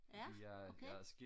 ja okay